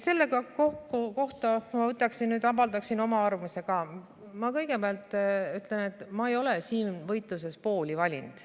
" Kui ma võtan nüüd kokku ja avaldan oma arvamust, siis ma kõigepealt ütlen, et ma ei ole siin võitluses poolt valinud.